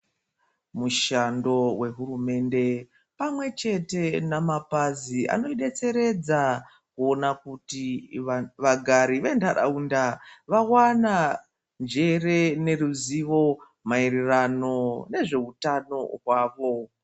Mushando wehurumende pamwe chete nemapazi anodetseredza kuona kuti vagari vendaraunda vawana njere neruzivo maererano nehutano hwavo.